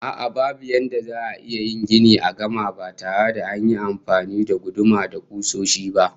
A'a, babu yadda za'a iya yin gini a gama ba tare da an yi amfani da guduma da kusoshi ba